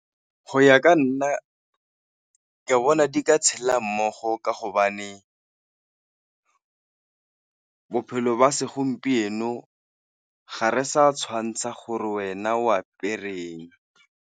Go ya ka nna ke bona di ka tshela mmogo ka hobane bophelo jwa segompieno ga re sa tshwantsha gore wena o apereng.